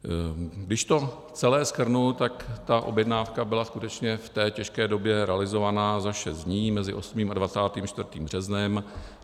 Když to celé shrnu, tak ta objednávka byla skutečně v té těžké době realizována za šest dní, mezi 8. a 24. březnem.